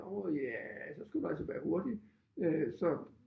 Jo ja så skal du altså være hurtig øh så